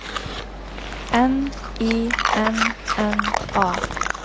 N I N N A